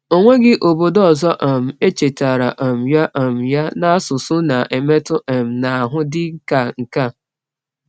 Ọ nweghị obodo ọzọ um echetaara um ya um ya n’asụsụ na-emetụ um n’ahụ dịka nke a.